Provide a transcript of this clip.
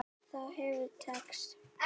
Það hefur ekki tekist.